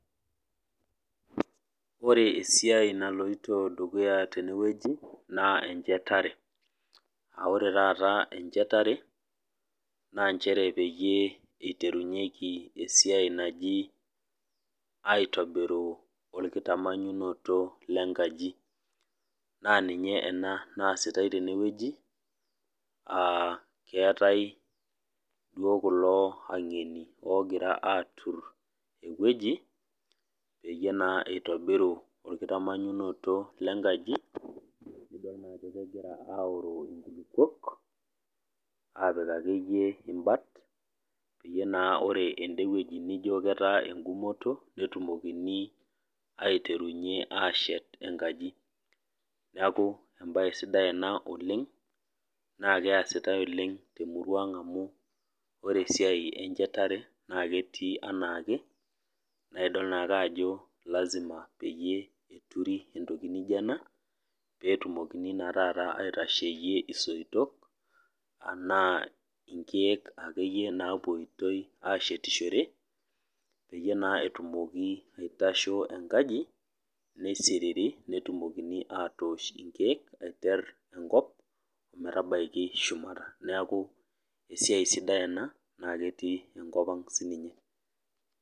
Ore esiai naloito dukuya tene wueji, naa enchetare, aa ore taata encheyare, naa nchere peyie eiterunyeki taata esiai naji aitomiru olkitamanyunoto le nkaji. Naa ninye ena naasitai tenewueji, aa keatai duo kulo aingeni oogira aatur ewueji, peyie naa eitobiru olkitamanyunoto le nkaji naa idol naa ajo egira aoroo inkulukwok, apik ake iyie imbat, peyie naa ende wueji naijo ketaa eng'umoto, netumokini aiterunye aashet enkaji, neaku embaye sidai ena oleng' naa keasitai oleng' te emurua aang' amu ore esiai enchetare naa ketii anaake, naa idol naa ake iyie ajo lazima peeturi entoki naijo ena peetumokini naa taata aitasheiye isoito anaa inkeek ake iyie naapuoitoi ashetishore, peyie naa etumoki aitashe enkaji, neisiriri, netumokini atoosh inkeek, aiter enkop ometabaiki shumata, neaku esiai sidai ena naake etii enkop ang' siininye.